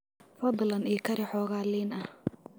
Fadlan ii kari xoogaa liin ah.